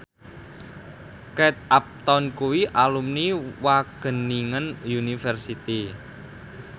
Kate Upton kuwi alumni Wageningen University